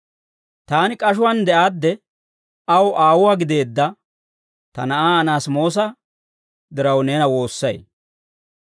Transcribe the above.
Taani k'ashuwaan de'aadde aw aawuwaa gideedda ta na'aa Anaasimoosa diraw, neena woossay.